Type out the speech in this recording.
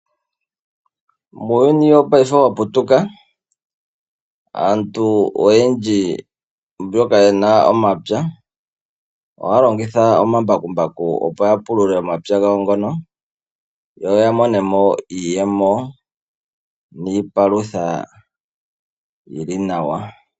Muuyuni wopaife owaputuka, aantu oyendji mboka yena omapya ohaya longitha omambakumbaku opo yapulule omapya gawo ngono yo yamonemo iiyemo niipalutha yili nawa.